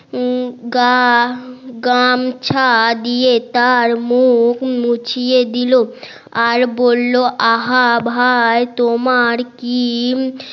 গা গামছা দিয়ে তার মুখ মুছিয়ে দিল আর বললো আহা ভাই তোমার কি